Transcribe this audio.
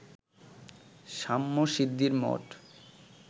শ্যামশিদ্ধির মঠ